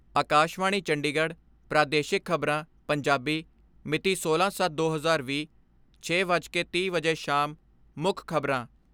ਆਕਾਸ਼ਵਾਣੀ ਚੰਡੀਗੜ੍ਹ ਪ੍ਰਾਦੇਸ਼ਿਕ ਖਬਰਾਂ, ਪੰਜਾਬੀ ਮਿਤੀ ਸੋਲਾਂ ਸੱਤ ਦੋ ਹਜ਼ਾਰ ਵੀਹ, ਛੇ ਵੱਜ ਕੇ ਤੀਹ ਮਿੰਟ ਵਜੇ ਸ਼ਾਮ ਮੁੱਖ ਖਬਰਾਂ